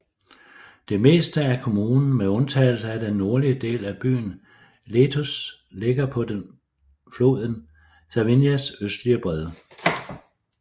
Det meste af kommunen med undtagelse af den nordlige del af byen Letuš ligger på den floden Savinjas østlige bred